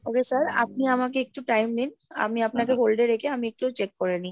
Okay sir আপনি আমাকে একটু time দিন আমি আপনাকে hold এ রেখে আমি একটু check করে নি।